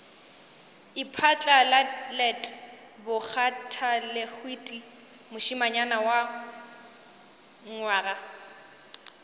iphatlalalet bakgathalehwiti mošemanyana wa nywaga